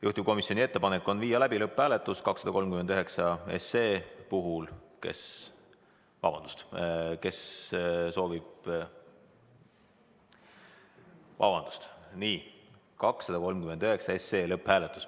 Juhtivkomisjoni ettepanek on viia läbi 239 SE lõpphääletus.